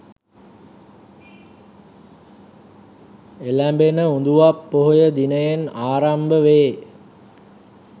එලැඹෙන උඳුවප් පොහොය දිනයෙන් ආරම්භ වේ